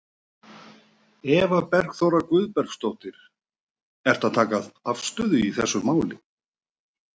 Eva Bergþóra Guðbergsdóttir: Ertu að taka afstöðu í þessu máli?